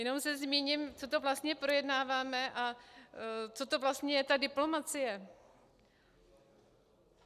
Jenom se zmíním, co to vlastně projednáváme a co to vlastně je ta diplomacie.